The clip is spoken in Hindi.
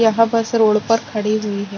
यहाँ पास रोड पर खड़ी हुई है ।